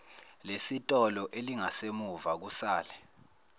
lesitolo elingasemuva kusale